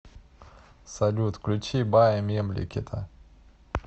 салют включи бая мемлекета